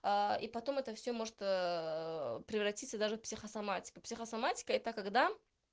и потом это все может превратиться даже психосоматика психосоматика это когда